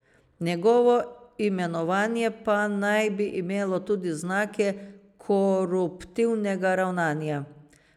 Njegovo imenovanje pa naj bi imelo tudi znake koruptivnega ravnanja.